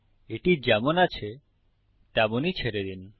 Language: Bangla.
এটি যেমন আছে তেমনই ছেড়ে দিন